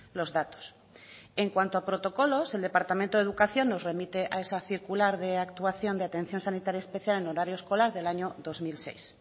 los datos en cuanto a protocolos el departamento de educación nos remite a esa circular de actuación de atención sanitaria especial en horario escolar del año dos mil seis